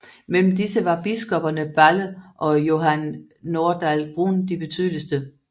Mellem disse var biskopperne Balle og Johan Nordahl Brun de betydeligste